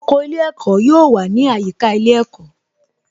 Oko ilé ẹ̀kọ́ yóò wà ní àyíká ilé ẹ̀kọ́